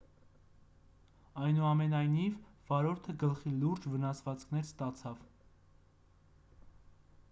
այնուամենայնիվ վարորդը գլխի լուրջ վնասվածքներ ստացավ